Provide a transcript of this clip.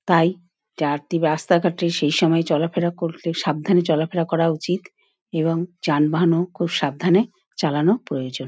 তাই জার্তি রাস্তা ঘটে সেসময়ে চলা ফেলা করলে সাবধানে চলা ফেরা করা উচিত |এবং ষানবহন ও খুব সাবধানে চালানো প্রয়োজন ।